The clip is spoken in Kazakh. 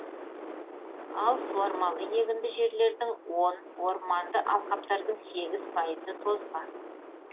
ал суармалы егінді жерлердің он орманды алқаптардың сегіз пайызы тозған